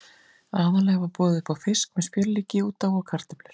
Aðallega var boðið upp á fisk með smjörlíki út á og kartöflur.